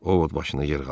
Ovod başını yellədi.